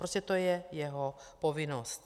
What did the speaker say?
Prostě to je jeho povinnost.